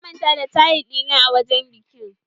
Na manta da taye ɗina a wajen bikin